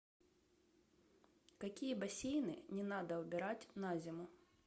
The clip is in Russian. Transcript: какие бассейны не надо убирать на зиму